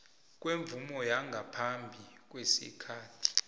kwemvumo yangaphambi kwesikhathi